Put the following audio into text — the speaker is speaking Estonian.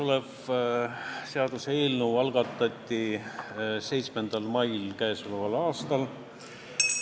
See seaduseelnõu algatati 7. mail käesoleval aastal.